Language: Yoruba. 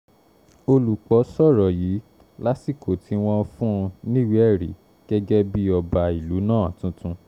olùpọ̀ sọ̀rọ̀ yìí lásìkò tí wọ́n ń fún un níwèé-ẹ̀rí gẹ́gẹ́ bíi ọba ìlú náà tuntun